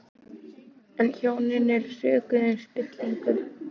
En hjónin eru sökuð um spillingu